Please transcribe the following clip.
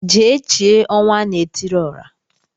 Jee chie Ọnwanaetiriọra